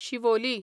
Siolim